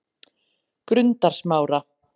Grundarsmára